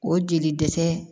O jeli dɛsɛ